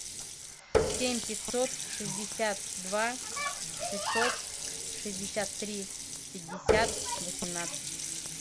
семь пятьсот шестьдесят два шестьсот шестьдесят три пятьдесят восемнадцать